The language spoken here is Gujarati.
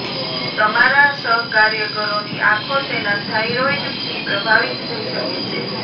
તમારા સહકાર્યકરોની આંખો તેના થાઇરોઇડથી પ્રભાવિત થઈ શકે છે